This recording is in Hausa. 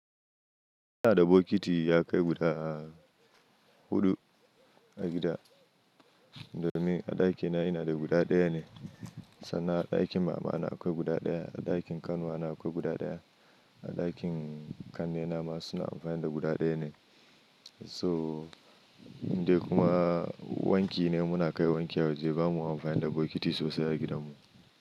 Ina da bokiti ya kai guda huɗu a gida, domin a ɗakina ina da guda ɗaya ne sannan a ɗakin mama akwai guda ɗaya, a ɗakin ƙanuwa akwai guda ɗaya. A ɗakin ƙannena ma suna amfani da guda ɗaya ne. So indai kuma wanki ne muna kai wanki nemuna kai wanki a waje, ba mu amfani da bokiti sosai a gidanmu.